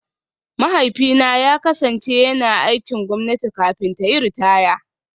Mahaifina ya kasance yana aikin gwamnati kafin ta yi ritaya